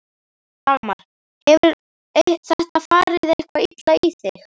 Dagmar: Hefur þetta farið eitthvað illa í þig?